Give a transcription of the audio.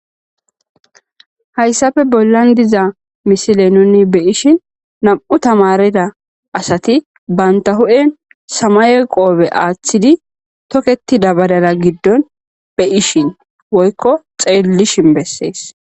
Haysappe bollan diza misile nuni beyishin nam'u tamariday asati banta hu'en samaye qoope aathidi toketida badala gidin be'ishn woyko xeelishn besesi.